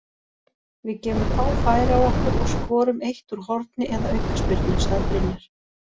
Við gefum fá færi á okkur og skorum eitt úr horni eða aukaspyrnu, sagði Brynjar.